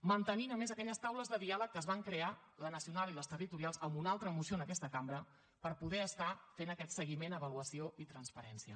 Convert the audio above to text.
mantenint a més aquelles taules de diàleg que es van crear la nacional i les territorials amb una altra moció en aquesta cambra per poder estar fent aquest seguiment avaluació i transparència